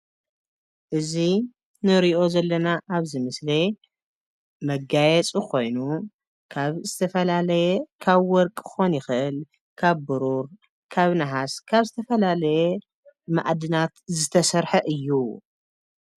እዚ ንሪኦ ዘለና ኣብዚ ምስሊ መጋየፂ ኮይኑ ካብ ዝተፈላለየ ካብ ወርቂ ክኸውን ይኽእል፣ ካብ ብሩር ፣ካብ ነሃስ ፣ካብ ዝተፈላለየ መኣድናት ዝተሰርሐ እዩ፡፡